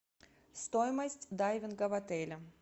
стоимость дайвинга в отеле